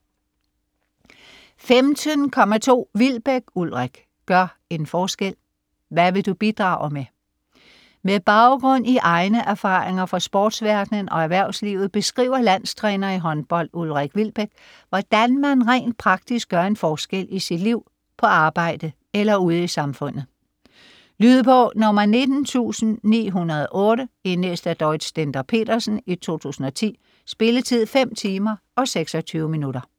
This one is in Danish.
15.2 Wilbek, Ulrik: Gør en forskel: hvad vil du bidrage med? Med baggrund i egne erfaringer fra sportsverdenen og erhvervslivet beskriver landstræner i håndbold, Ulrik Wilbek, hvordan man rent praktisk gør en forskel i sit liv, på arbejde eller ude i samfundet. Lydbog 19908 Indlæst af Dorrit Stender-Petersen, 2010. Spilletid: 5 timer, 26 minutter.